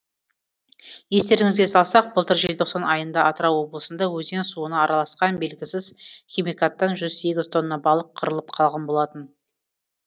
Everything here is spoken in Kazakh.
естеріңізге салсақ былтыр желтоқсан айында атырау облысында өзен суына араласқан белгісіз химикаттан жүз сегіз тонна балық қырылып қалған болатын